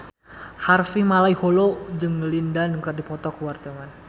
Harvey Malaiholo jeung Lin Dan keur dipoto ku wartawan